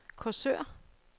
Korsør